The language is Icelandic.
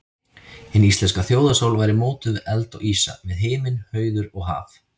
Hin íslenska þjóðarsál væri mótuð við eld og ísa, við himinn, hauður og haf.